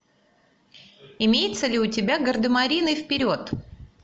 имеется ли у тебя гардемарины вперед